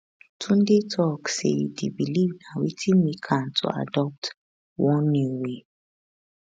tunde tok say di believe na wetin make am to adopt one new way